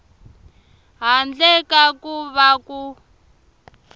handle ka ku va ku